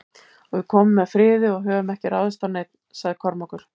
Og við komum með friði og höfum ekki ráðist á neinn, sagði Kormákur.